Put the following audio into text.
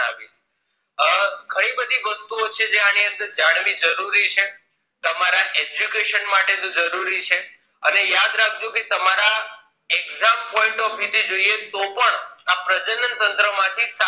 અ ઘણી બધી વસ્તુઓ છે જે આની અંદર જાણવી જરૂરી છે તમારા education માટે જો જરૂરી છે અને યાદ રાખજો કે તમારા exam point of રીતે જોઈએ તો પણ આ પ્રજનન તંત્ર માંથી